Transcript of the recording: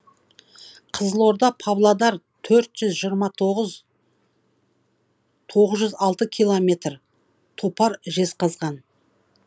қызылорда павлодар төрт жүз жиырма тоғыз тоғыз жүз алты километр топар жезқазған